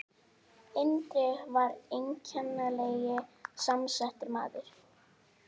Indriði var einkennilega samsettur maður.